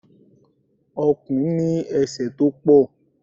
Ọ̀kùn ní ese tó pọ̀.